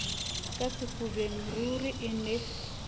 ka sefubeng ruri e ne